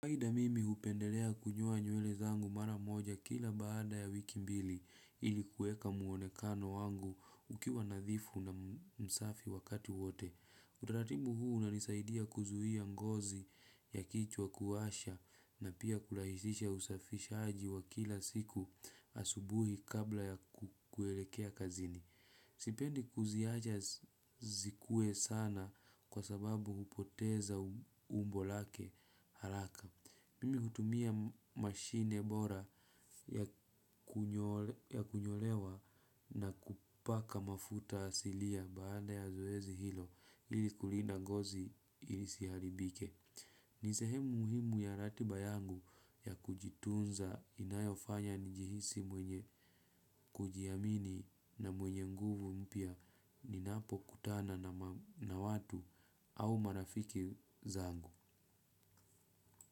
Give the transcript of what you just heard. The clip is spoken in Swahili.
Kawaida mimi hupendelea kunyoa nywele zangu mara moja kila baada ya wiki mbili ilikuweka muonekano wangu ukiwa nadhifu na msafi wakati wote. Utaratibu huu umenisaidia kuzuhia ngozi ya kichwa kuwasha na pia kurahisisha usafishaji wa kila siku asubuhi kabla ya kukuelekea kazini. Sipendi kuziacha zikuwe sana kwa sababu hupoteza umbo lake haraka. Mimi kutumia mashine bora ya kunyolewa na kupaka mafuta asilia baada ya zoezi hilo ili kulinda ngozi isiharibike. Nisehemu muhimu ya ratiba yangu ya kujitunza inayofanya njihisi mwenye kujiamini na mwenye nguvu mpya ninapokutana na watu au marafiki zangu.